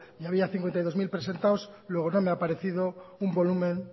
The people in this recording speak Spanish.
y había cincuenta y dos mil presentados luego no me ha parecido un volumen